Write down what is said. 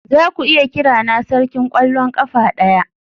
Zaku iya kirana sarkin kwallon kafa daya?